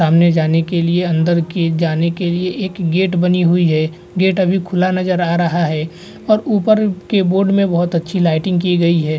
आने जाने के लिए अंदर की जाने के लिए एक गेट बनी हुई है गेट अभी खुला नजर आ रहा है और ऊपर के बोर्ड में बहत अच्छी लाइटिंग की गयी है।